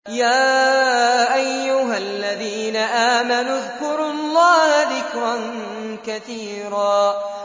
يَا أَيُّهَا الَّذِينَ آمَنُوا اذْكُرُوا اللَّهَ ذِكْرًا كَثِيرًا